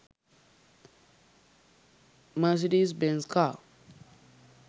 Mercedes benz car